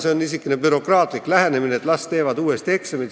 See on niisugune bürokraatlik lähenemine, et las teevad uuesti eksami.